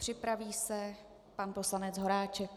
Připraví se pan poslanec Horáček.